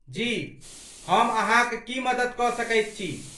जी, हम अहाँक की मदति कऽ सकैत छी?